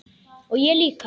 Og ég líka.